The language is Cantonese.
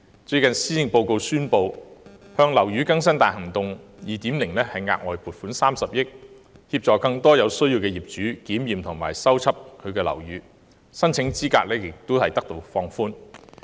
最近施政報告宣布向"樓宇更新大行動 2.0" 額外撥款30億元，協助更多有需要的業主檢驗及修葺樓宇，而申請資格也有所放寬。